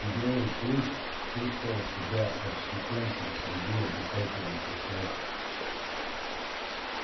белый клык чувствовал себя отщепенцем среди обитателей посёлка